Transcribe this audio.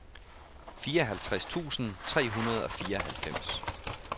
fireoghalvtreds tusind tre hundrede og fireoghalvfems